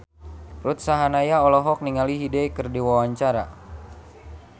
Ruth Sahanaya olohok ningali Hyde keur diwawancara